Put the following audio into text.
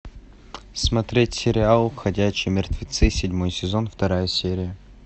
смотреть сериал ходячие мертвецы седьмой сезон вторая серия